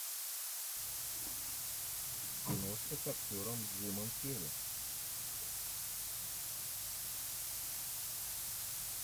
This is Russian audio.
киношка с актером джимом керри